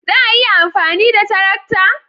Za a iya amfani da tarakta?